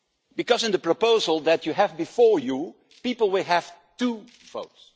Because, in the proposal that you have before you, people will have two votes.